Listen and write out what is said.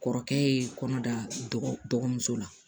Kɔrɔkɛ ye kɔnɔ da dɔgɔmuso la